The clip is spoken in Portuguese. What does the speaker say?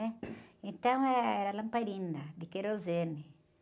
né? Então, eh, era lamparina de querosene.